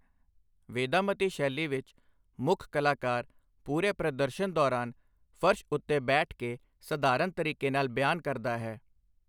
ਵੇਦਾਮਤੀ ਸ਼ੈਲੀ ਵਿੱਚ, ਮੁੱਖ ਕਲਾਕਾਰ ਪੂਰੇ ਪ੍ਰਦਰਸ਼ਨ ਦੌਰਾਨ ਫਰਸ਼ ਉੱਤੇ ਬੈਠ ਕੇ ਸਧਾਰਨ ਤਰੀਕੇ ਨਾਲ ਬਿਆਨ ਕਰਦਾ ਹੈ।